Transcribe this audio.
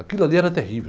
Aquilo ali era terrível.